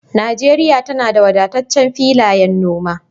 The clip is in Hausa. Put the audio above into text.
Najeriya tana da wadataccen filayen noma